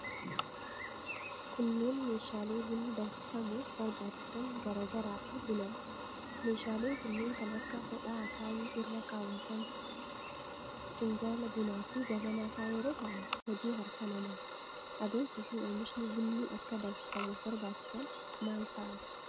Kunneen meeshaalee bunni danfifamuuf barbaachisan garaa garaa fi buna dha. Meeshaaleen kunneen kan akka hodhaa akaayii irra kaawwatan, finjaala bunaa fi jabanaa faa yeroo ta'an ,hojii harka namaati. Adeemsi fi oomishni bunni akka danfifamuuf barbaachisan maal faa dha?